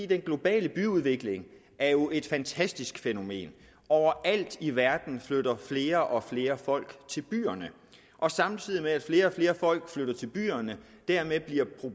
den globale byudvikling er jo et fantastisk fænomen overalt i verden flytter flere og flere folk til byerne og samtidig med at flere og flere folk flytter til byerne